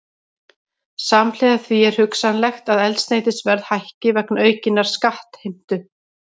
Samhliða því er hugsanlegt að eldsneytisverð hækki vegna aukinnar skattheimtu.